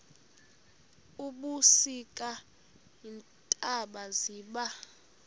ebusika iintaba ziba